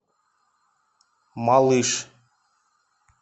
малыш